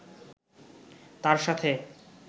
তাঁর সাথে